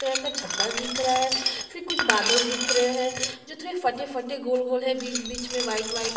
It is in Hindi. तरह का छददा दिख रहा है फिर कुछ बादल दिख रहै है जो थोरा फटे -फटे गोल - गोल है बिच -बिच में वाइट वाइट --